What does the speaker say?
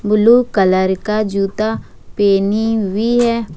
Blue colour का जूता पहनी हुई है।